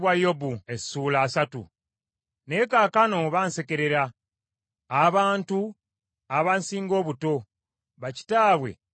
“Naye kaakano bansekerera; abantu abansinga obuto, bakitaabwe be nnandibadde nteeka wamu n’embwa ezikuuma endiga zange.